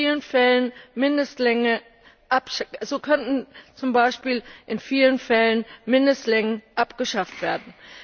in vielen Fällen Mindestlängen abgeschafft werden.